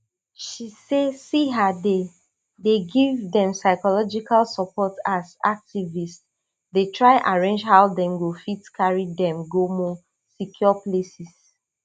she say siha dey dey give dem psychological support as activists dey try arrange how dem go fit carry dem go more secure places